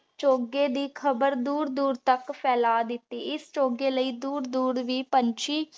ਚੁਗੀ ਦੀ ਖਬਰ ਦੂਰ ਦੂਰ ਤਕ ਫੈਲਾ ਦਿਤੀ ਏਸ ਚੁਗੀ ਲੈ ਦੂਰ ਦੂਰ ਵੀ ਪੰਛੀ